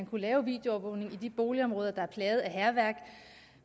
kunne laves videoovervågning i de boligområder der er plaget af hærværk